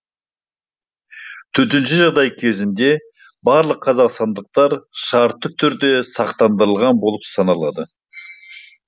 төтенше жағдай кезеңінде барлық қазақстандықтар шартты түрде сақтандырылған болып саналады